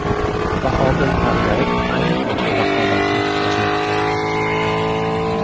Bahodir Pardayev ayni paytda raqobatda yutqazmoqda.